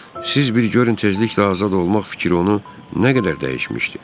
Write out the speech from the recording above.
Siz bir görün tezliklə azad olmaq fikri onu nə qədər dəyişmişdi.